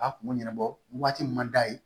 A kun bɛ ɲɛnabɔ waati min man d'a ye